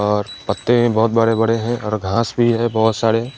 और पत्ते भी बहोत बड़े बड़े हैं और घास भी है बहोत सारे।